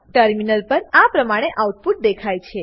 terminal પર આ પ્રમાણે આઉટપુટ દેખાય છે